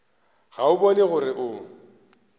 ga o bone gore o